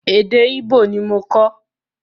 Èdè Ìgbò ni mo kọ́.